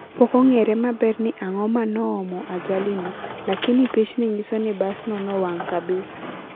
pokongere maber ni angoo manoomo ajali no, lakini pichni nyiso ni bas no nowang kabisa